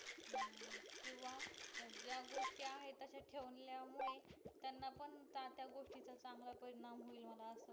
केंव्हा ज्या गोष्टी आहे तश्या ठेवल्या मुळे त्यांना पण त्या त्या गोष्टीच चांगलं परिणाम होईल होणार असं वाटत